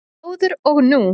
Áður og nú